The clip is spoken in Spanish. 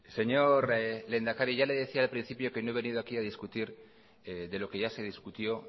señor lehendakari ya le decía yo al principio que no he venido aquí a discutir de lo que ya se discutió